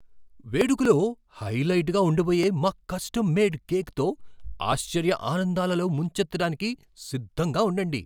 వేడుకలో హైలైట్గా ఉండబోయే మా కస్టమ్ మేడ్ కేక్తో ఆశ్చర్య ఆనందాలలో ముంచెత్తడానికి సిద్ధంగా ఉండండి